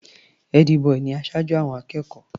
Ẹ́dí-bọì ni aṣojú àwọn akẹ́kọ̀ọ́.